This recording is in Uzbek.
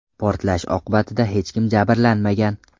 Portlash oqibatida hech kim jabrlanmagan.